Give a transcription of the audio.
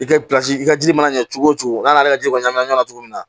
I ka i ka ji mana ɲɛ cogo o cogo n'a ka ji kɔnɔna na cogo min na